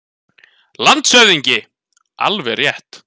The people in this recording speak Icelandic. LANDSHÖFÐINGI: Alveg rétt.